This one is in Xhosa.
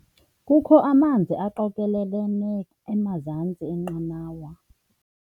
Kukho amanzi aqokelelene emazantsi enqanawa.